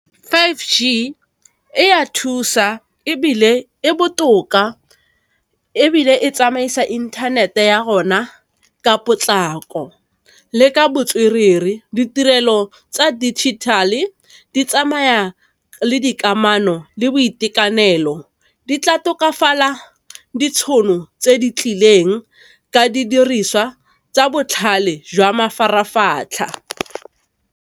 Five g e ya thusa ebile e botoka, ebile e tsamaisa inthanete ya rona ka potlako le ka botswerere, ditirelo tsa digital-e di tsamaya le dikamano, le boitekanelo di tla tokafala ditšhono tse di tlileng ka didiriswa tsa botlhale jwa mafaratlhatlha.